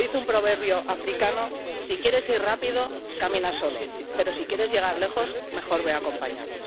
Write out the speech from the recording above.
Como dice un proverbio africano, si quieres ir rápido camina solo pero, si quieres llegar lejos, mejor ve acompañado.